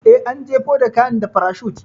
Eh, an jefo da kayan da farashut.